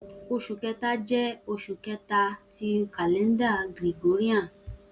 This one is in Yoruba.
Oṣu Kẹta jẹ oṣu kẹta ti kalẹnda Gregorian